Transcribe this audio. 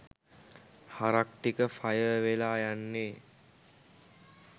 හරක් ටික ෆයර් වෙලා යන්නේ